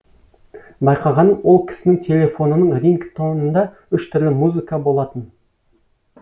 байқағаным ол кісінің телефонының рингтонында үш түрлі музыка болатын